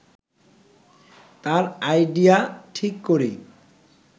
তার আইডিয়া ঠিক করি